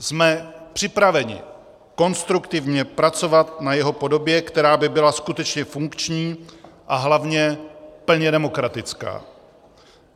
Jsme připraveni konstruktivně pracovat na jeho podobě, která by byla skutečně funkční a hlavně plně demokratická.